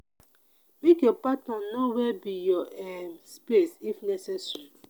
make your partner know where be your um space if necessary